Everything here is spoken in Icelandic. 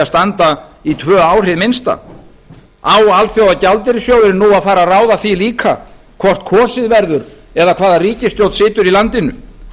standa í tvö ár hið minnsta á alþjóðagjaldeyrissjóðurinn nú að fara að ráða því líka hvort kosið verður eða hvaða ríkisstjórn situr í landinu